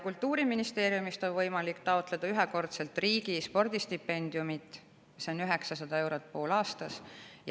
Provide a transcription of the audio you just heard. Kultuuriministeeriumist on võimalik ühekordselt taotleda riigi spordistipendiumi, mis on 900 eurot poolaastas.